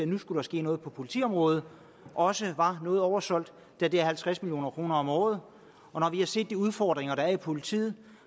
nu skulle ske noget på politiområdet også var noget oversolgt da det er halvtreds million kroner om året og når vi har set de udfordringer der er i politiet